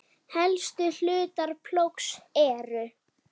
Helstu hlutar plógs eru